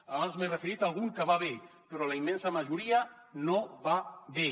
abans m’he referit a algun que va bé però la immensa majoria no va bé